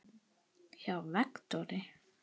hjá Vektor.